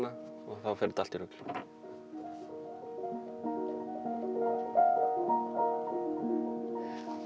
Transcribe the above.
og þá fer þetta allt í rugl og